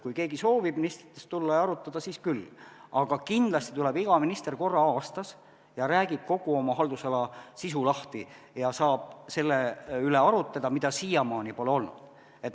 Kui keegi soovib ministritest tulla ja arutada, siis küll, aga kindlasti tuleb iga minister korra aastas, räägib kogu oma haldusala sisu lahti ja siis saab selle üle arutleda, mida siiamaani pole olnud.